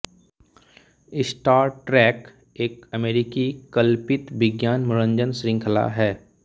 star Trek एक अमेरिकी कल्पित विज्ञान मनोरंजन श्रृंखला है